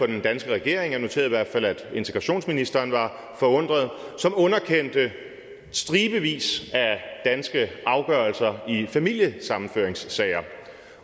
den danske regering jeg noterede i hvert fald at integrationsministeren var forundret som underkendte stribevis af danske afgørelser i familiesammenføringssager